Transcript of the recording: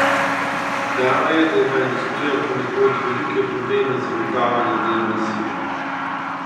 Znano je, da ima industrija ponekod velike probleme z zagotavljanjem delovne sile.